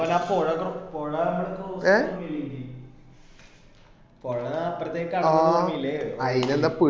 എന്റെ മോനെ ആ പോഴ പോഴാ കടന്നത് ഒന്നും ഓർമ്മ ഇല്ലേ നിനിക്ക് പോഴ അപ്പ്രത്തേക്ക് കടന്നത് ഓർമ്മ ഇല്ലേ